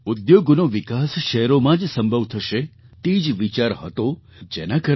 ઉદ્યોગોનો વિકાસ શહેરોમાં જ સંભવ થશે તે જ વિચાર હતો જેના કારણે ડૉ